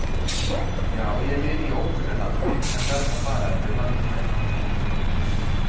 Já, ég lifi í ókunnu landi en verð að fara yfir landamærin.